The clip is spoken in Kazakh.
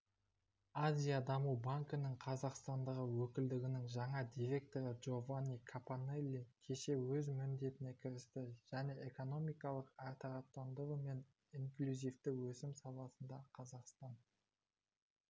азия даму банкінің қазақстандағы өкілдігінің жаңа директоры джованни капаннелли кеше өз міндетіне кірісті және экономиканы әртараптандыру мен инклюзивті өсім саласында қазақстан